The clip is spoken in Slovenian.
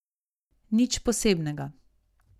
Nič posebnega.